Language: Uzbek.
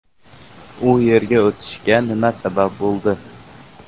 U yerga o‘tishga nima sabab bo‘ldi?